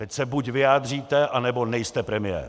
Teď se buď vyjádříte, anebo nejste premiér!